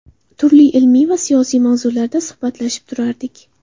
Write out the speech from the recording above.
Turli ilmiy va siyosiy mavzularda suhbatlashib turardik.